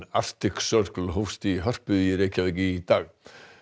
Arctic Circle hófst í Hörpu í Reykjavík í dag